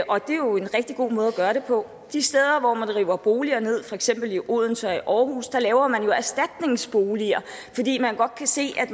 og det er jo en rigtig god måde at gøre det på de steder hvor man river boliger ned for eksempel i odense og i aarhus laver man jo erstatningsboliger fordi man godt kan se at